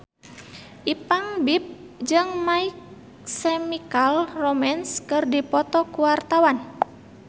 Ipank BIP jeung My Chemical Romance keur dipoto ku wartawan